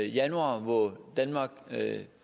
januar hvor danmark